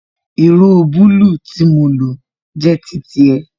Ìró bulu tí mo lo jẹ́ titi ẹ